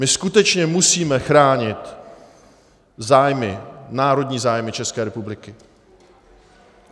My skutečně musíme chránit zájmy, národní zájmy České republiky.